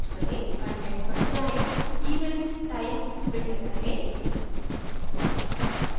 content पर जाएँ events type filter करें